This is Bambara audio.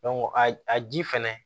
a a ji fɛnɛ